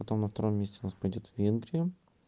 потом на втором месте у нас пойдёт венгрия